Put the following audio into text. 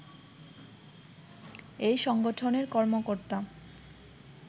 এই সংগঠনের কর্মকর্তা